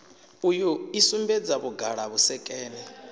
uyu i sumbedza vhuṱala vhusekene